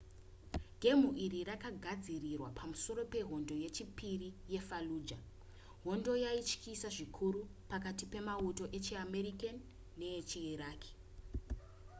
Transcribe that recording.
gemu iri rakagadzirwa pamusoro pehondo yechipiri yefallujah hondo yaityisa zvikuru pakati pemauto echiamerican nevechiiraqi